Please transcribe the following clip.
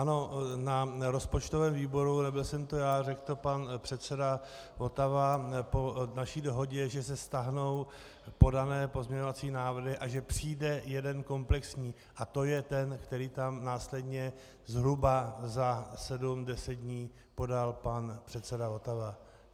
Ano, na rozpočtovém výboru, nebyl jsem to já, řekl to pan předseda Votava po naší dohodě, že se stáhnou podané pozměňovací návrhy a že přijde jeden komplexní, a to je ten, který tam následně zhruba za sedm, deset dní podal pan předseda Votava.